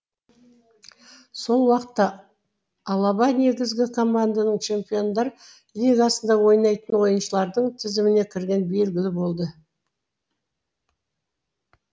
сол уақытта алаба негізгі команданың чемпиондар лигасында ойнайтын ойыншылардың тізіміне кіргені белгілі болды